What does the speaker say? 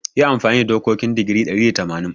Yi amfani da dokokin digiri ɗari da tamanin.